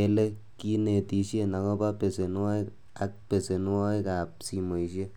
ele kinetishien agobo besenwogik ak besenwogik ab simoisiek.